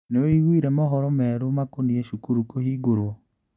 Nĩwĩiguire mohoro merũ makonie cukuru kũhingũrwo?